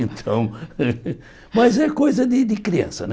Então, mas é coisa de de criança, né?